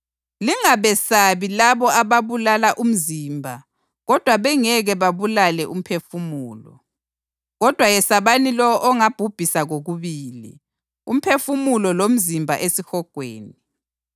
Lingabesabi labo ababulala umzimba kodwa bengeke babulale umphefumulo. Kodwa yesabani lowo ongabhubhisa kokubili, umphefumulo lomzimba esihogweni.